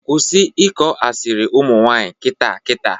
Kwụsị ịkọ asịrị ụmụnwanyị kịta kịta!